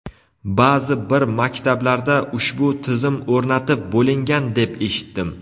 Ba’zi bir maktablarda ushbu tizim o‘rnatib bo‘lingan deb eshitdim.